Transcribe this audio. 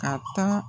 Ka taa